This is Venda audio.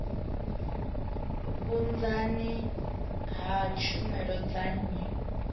vhunzani ha tshumelo dza nnyi